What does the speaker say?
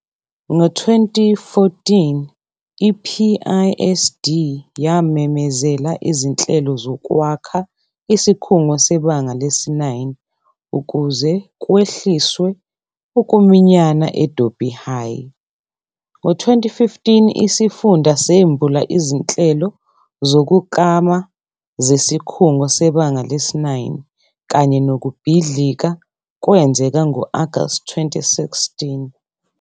Ngo-2014, i-PISD yamemezela izinhlelo zokwakha isikhungo sebanga lesi-9 ukuze kwehliswe ukuminyana e-Dobie High. Ngo-2015, isifunda sembula izinhlelo zokuklama zesikhungo sebanga lesi-9, kanye nokubhidlika kwenzeka ngo-August 2016.